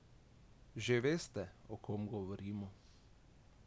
Že veste, o kom govorimo?